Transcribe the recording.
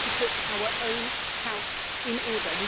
We need to put our own house in order